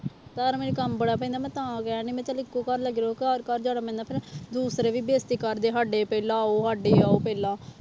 ਘਰ ਮੈਨੂੰ ਕੰਮ ਬੜਾ ਪੈਂਦਾ ਮੈਂ ਤਾਂ ਕਹਿਣਡੀ ਮੈਂ ਚੱਲ ਇੱਕੋ ਘਰ ਲੱਗੀ ਰਹੂ ਘਰ ਘਰ ਜਾਣਾ ਪੈਂਦਾ ਫਿਰ ਦੂਸਰੇ ਵੀ ਬੇਇਜਤੀ ਕਰਦੇ ਸਾਡੇ ਪਹਿਲਾਂ ਆਓ ਸਾਡੇ ਆਓ ਪਹਿਲਾਂ।